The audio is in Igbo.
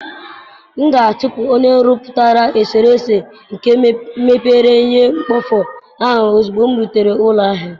M ga-achụpụ onye nrụpụta eserese nke mebere ihe mkpofu ahụ ozugbo m nrutere ụlọ ahịa.